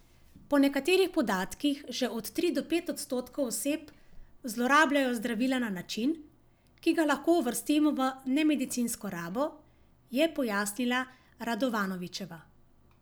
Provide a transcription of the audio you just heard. Po nekaterih podatkih že od tri do pet odstotkov oseb zlorabljajo zdravila na način, ki ga lahko uvrstimo v nemedicinsko rabo, je pojasnila Radovanovičeva.